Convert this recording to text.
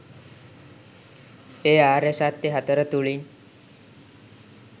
ඒ ආර්ය සත්‍ය හතර තුළින්.